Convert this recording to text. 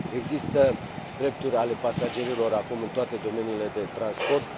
Există drepturi ale pasagerilor acum în toate domeniile de transport.